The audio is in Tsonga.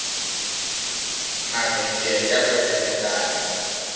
mavhengele ya kwetlembetana